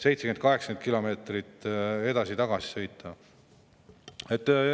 70–80 kilomeetrit edasi-tagasi sõita.